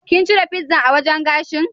Kin cire pizzan a wajan gashin?